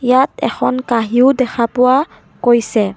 ইয়াত এখন কাঁহীও দেখা পোৱা গৈছে।